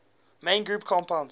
main group compounds